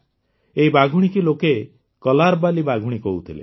ଏହି ବାଘୁଣୀକୁ ଲୋକେ କଲାର୍ବାଲୀ ବାଘୁଣୀ କହୁଥିଲେ